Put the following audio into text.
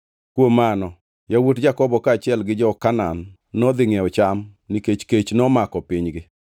Kuom mano yawuot Jakobo kaachiel gi jo-Kanaan nodhi ngʼiewo cham nikech kech momako pinygi.